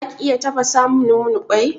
Zaki iya tafasamun mun kwai?